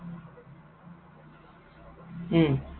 উম